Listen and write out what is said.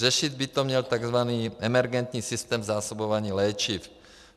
Řešit by to měl tzv. emergentní systém zásobování léčivy.